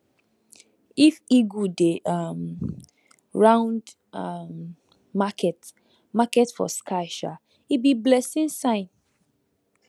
if eagle dey um round um market market for sky um e be blessing sign